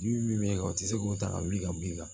Ji min bɛ kɛ o tɛ se k'o ta ka wuli ka b'i kan